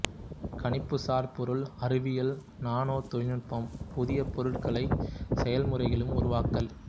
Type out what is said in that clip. கணிப்புசார் பொருள் அறிவியல் நானோ தொழில்நுட்பம் புதிய பொருள்களையும் செயல்முறைகளையும் உருவாக்கல்